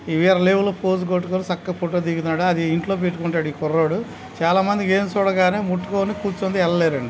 వేరే లెవెల్ లో పోజ్ కొట్టుకుని చక్కగా ఫోటో దిగుతున్నాడు. అది ఇంట్లో పెట్టుకుంటాడు ఈ కుర్రోడు. చాలా మంది ఏనుగు చూడగానే ముట్టుకోరు దగ్గరికి ఎల్లలేరండి.